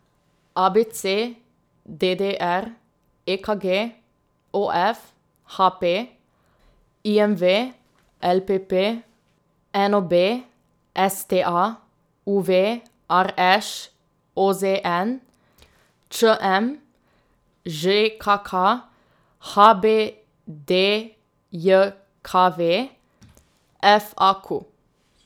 A B C; D D R; E K G; O F; H P; I M V; L P P; N O B; S T A; U V; R Š; O Z N; Č M; Ž K K; H B D J K V; F A Q.